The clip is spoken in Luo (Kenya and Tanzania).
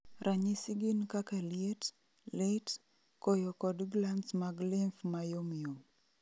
Ranyisi gin kaka liet, lit, koyo kod glands mag lymph ma yom yom